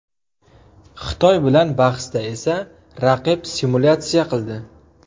Xitoy bilan bahsda esa raqib simulyatsiya qildi.